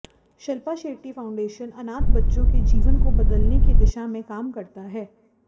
Shilpa Shetty foundation अनाथ बच्चों के जीवन को बदलने की दिशा में काम करता है